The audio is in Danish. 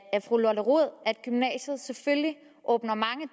fru lotte rod at gymnasiet selvfølgelig åbner mange